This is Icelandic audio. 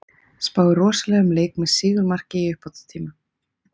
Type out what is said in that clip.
Spái rosalegum leik með sigurmarki í uppbótartíma.